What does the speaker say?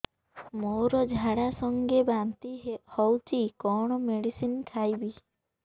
ମୋର ଝାଡା ସଂଗେ ବାନ୍ତି ହଉଚି କଣ ମେଡିସିନ ଖାଇବି